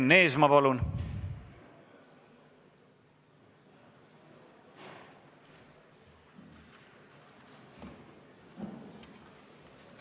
Enn Eesmaa, palun!